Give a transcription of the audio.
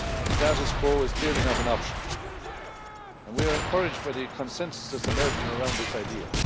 Status quo is clearly not an option. We are encouraged by the consensus emerging around this idea.